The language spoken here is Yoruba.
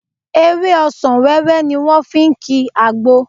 Ewé ọsàn wẹ́wẹ́ ni wọ́n fi ń ki àgbo